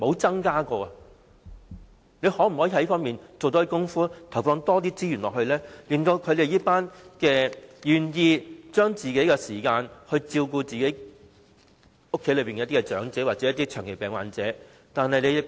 政府可否在這方面多做工夫，投放多些資源及提供支援給這群願意花個人時間來照顧家中長者或長期病患者的人呢？